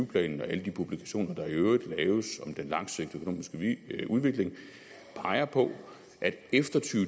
planen og alle de publikationer der i øvrigt laves om den langsigtede økonomiske udvikling peger på at efter to